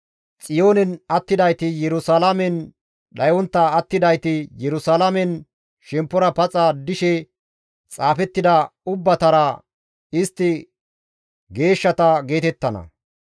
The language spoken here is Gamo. Xiyoonen attidayti, Yerusalaamen dhayontta attidayti, Yerusalaamen shemppora paxa dishe xaafettida ubbatara, «Istti geeshshata» geetettana.